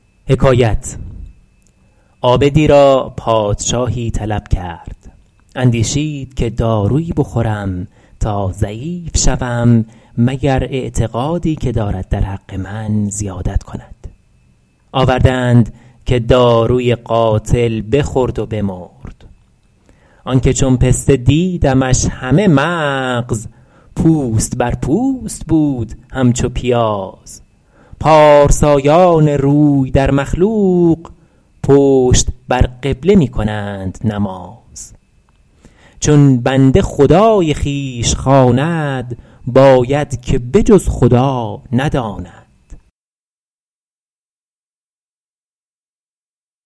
عابدی را پادشاهی طلب کرد اندیشید که دارویی بخورم تا ضعیف شوم مگر اعتقادی که دارد در حق من زیادت کند آورده اند که داروی قاتل بخورد و بمرد آن که چون پسته دیدمش همه مغز پوست بر پوست بود همچو پیاز پارسایان روی در مخلوق پشت بر قبله می کنند نماز چون بنده خدای خویش خواند باید که به جز خدا نداند